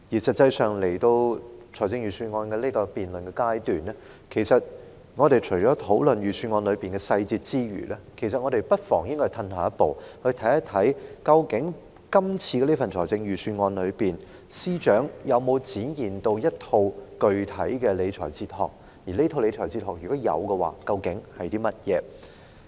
實際上，當有關財政預算案的辯論來到這個階段，我們在討論預算案中的細節之餘，不妨退後一步，看看究竟今次這份預算案中，司長有否展現一套具體的理財哲學；如有的話，究竟這套哲學是甚麼。